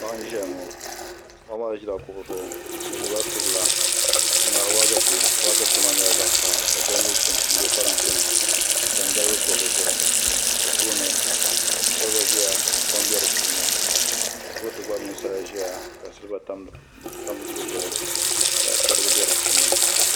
Paɣa n ʒiya ŋo paɣa maa ʒila kuɣi zuɣu o gbubila subila n ŋmaari waagashe waagashe maa nyɛla zaɣ kaha ka shɛli mii chim n bɛ parantɛ ni n tam dalbili piɛlli zuɣu o tooni kolba ʒiya ka kpam bɛ di puuni kurifooti gba mini sala n ʒiya ka silba tam di zuɣu ka chɛrigi bɛ di puuni